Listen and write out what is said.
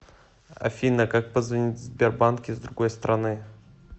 афина как позвонить в сбербанк из другой страны